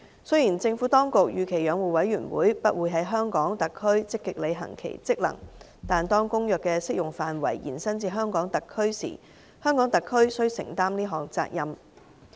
雖然政府當局預期養護委員會不會在香港特區積極履行其職能，但當《公約》的適用範圍延伸至香港特區時，香港特區須承擔這項責任。